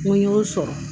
N ko y'o sɔrɔ